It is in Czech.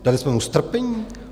Dali jsme mu strpění?